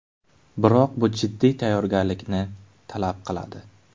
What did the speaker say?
Biroq bu jiddiy tayyorgarlikni talab qiladi.